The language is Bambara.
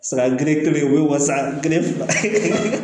Saga gere kelen u bɛ wasa gere faamu